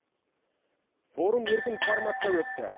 форум еркін форматта өтті